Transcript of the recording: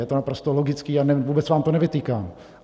Je to naprosto logické a vůbec vám to nevytýkám.